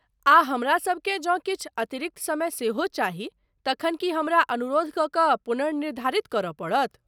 आ हमरासभ केँ जँ किछु अतिरिक्त समय सेहो चाही, तखन की हमरा अनुरोध कऽ कऽ पुनर्निर्धारित करय पड़त?